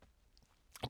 DR K